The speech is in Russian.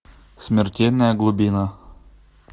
смертельная глубина